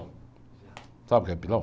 Sabe o que é pilão?